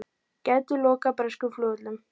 Gætu lokað breskum flugvöllum